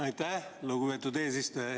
Aitäh, lugupeetud eesistuja!